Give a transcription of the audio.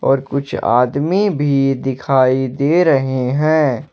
और कुछ आदमी भी दिखाई दे रहे हैं।